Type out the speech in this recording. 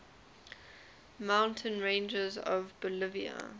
mountain ranges of bolivia